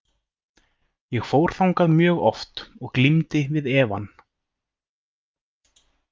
Ég fór þangað mjög oft og glímdi við efann.